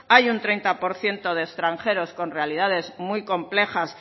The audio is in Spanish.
hay un treinta por ciento de extranjeros con realidades muy complejas